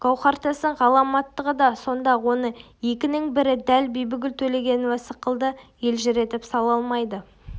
гауһартастың ғаламаттығы да сонда оны екінің бірі дәл бибігүл төлегенова сықылды елжіретіп сала алмайды